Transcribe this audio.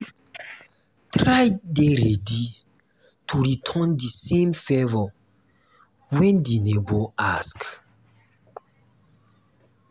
try dey ready um to return di same favour when di neigbour ask